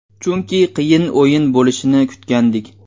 Chunki qiyin o‘yin bo‘lishini kutgandik.